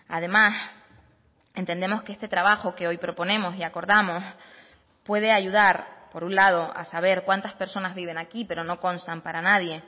además entendemos que este trabajo que hoy proponemos y acordamos puede ayudar por un lado a saber cuántas personas viven aquí pero no constan para nadie